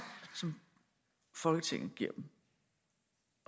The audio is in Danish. som folketinget giver dem